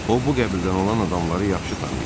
O bu qəbildən olan adamları yaxşı tanıyırdı.